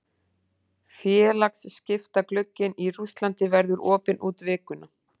Félagaskiptaglugginn í Rússlandi verður opinn út vikuna.